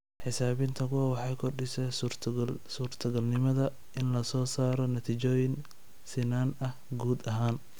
Xisaabinta kuwan waxay kordhisaa suurtogalnimada in la soo saaro natiijooyin sinnaan ah guud ahaan.